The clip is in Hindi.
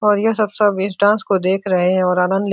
और यह सब सब इस डांस को देख रहे है और आनंद ले --